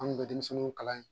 An tun bɛ denmisɛnninw kalan yen